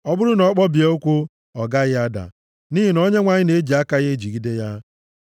ọ bụrụ na ọ kpọbie ụkwụ, ọ gaghị ada, nʼihi na Onyenwe anyị na-eji aka ya ejigide ya.